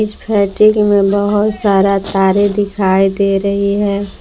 इस फैक्ट्री में बहोत सारा तारे दिखाई दे रही है।